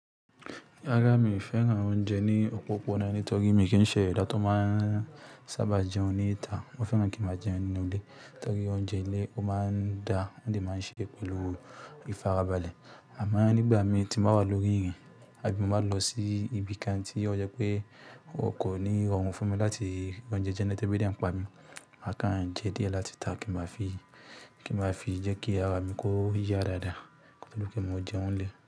Rárá mi ò fẹ́ràn oúnjẹ ní òpópónà náà nítorí mi kì í ṣẹ̀dá tó máa sábà jẹun ní ìta. Mo fẹ́ràn kí mo máa jẹun nínú ilé nítorí oúnjẹ ilé ó máa ń da, ó sì máa ń ṣe pẹ̀lú ìfarabalẹ̀. Àmọ́ nígbà mi ti mo bá wà lórí ìrìn, àbí mo bá lọ sí ibi kan tí ó jẹ́ pé o kò ní rọrùn fún mi láti gbé njẹ jẹ le tẹ̀ ẹ̀bí díẹ̀ ń pa mi, màá kàn jẹ díẹ̀ láti ta kí n máa fi jẹ́ kí ara mi kó yá dáadáa pẹ̀lú kí mo jẹun lé.